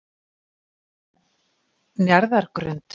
Njarðargrund